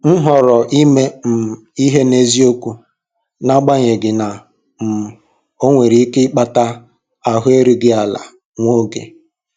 M họọrọ ime um ihe n'eziokwu, n'agbanyeghị na um ọ nwere ike ịkpata ahụ erughị ala nwa oge.